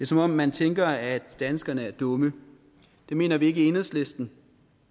som om man tænker at danskerne er dumme det mener vi ikke i enhedslisten